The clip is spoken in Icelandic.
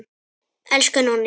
Elsku Nonni.